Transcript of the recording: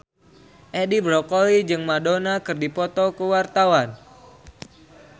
Edi Brokoli jeung Madonna keur dipoto ku wartawan